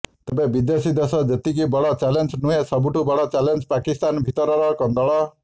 ତେବେ ବିଦେଶୀ ଦେଶ ଯେତିକି ବଡ଼ ଚ୍ୟାଲେଞ୍ଜ ନୁହଁ ସବୁଠୁ ବଡ଼ ଚ୍ୟାଲେଞ୍ଜ ପାକିସ୍ତାନ ଭିତରର କନ୍ଦଳ